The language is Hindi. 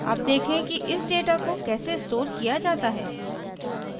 अब देखें कि इस data को कैसे store किया data है